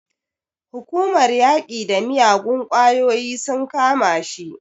Hukumar yaƙi da miyagun ƙwayoyi sun kama shi.